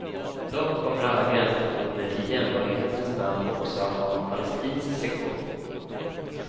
Dock kommer alla gränsstationer i jämbördighetens namn också att ha en palestinsk sektion.